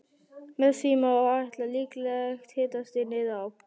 Með því má áætla líklegt hitastig niður á